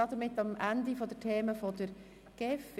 Damit sind wir am Ende der Themen der GEF angelangt.